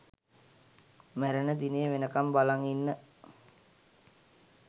මැරෙන දිනේ වෙනකම් බලන් ඉන්න